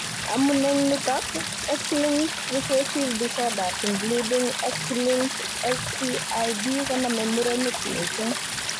Amun en nitok, X linked recessive disorders, including X linked SCID konome murenik missing